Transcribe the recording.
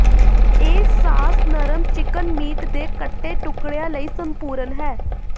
ਇਹ ਸਾਸ ਨਰਮ chicken meat ਦੇ ਕੱਟੇ ਟੁਕੜਿਆਂ ਲਈ ਸੰਪੂਰਣ ਹੈ